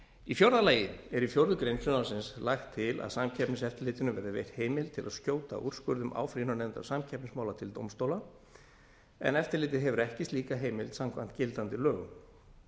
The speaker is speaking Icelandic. í fjórða lagi er í fjórða grein frumvarpsins lagt til að samkeppniseftirlitinu verði veitt heimild til að skjóta úrskurðum áfrýjunarnefndar samkeppnismála til dómstóla en eftirlitið hefur ekki slíka heimild samkvæmt gildandi lögum